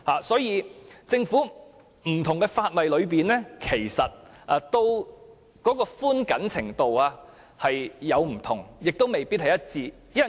所以，在現行的不同法例中，寬緊程度亦各有不同，未必一致。